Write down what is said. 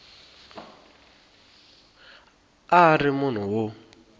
a a ri munhu wo